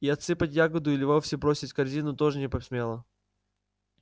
и отсыпать ягоду или вовсе бросить корзину тоже не посмела